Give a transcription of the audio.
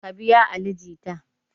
Ka biya ali jita!